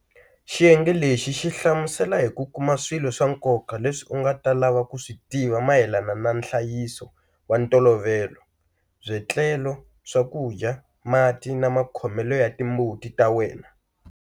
Xiyenge lexi xi hlamusela hi ku kuma swilo swa nkoka leswi u nga ta lava ku swi tiva mayelana na nhlayiso wa ntolovelo, byetlelo, swakudya, mati na makhomelo ya timbuti ta wena.